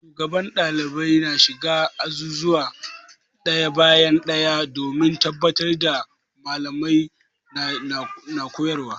Shugaban Mallamai na shiga azuzuwa ɗaya bayan ɗaya domin tabbatar da Mallamai na koyarwa.